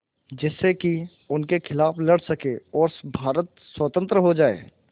जिससे कि उनके खिलाफ़ लड़ सकें और भारत स्वतंत्र हो जाये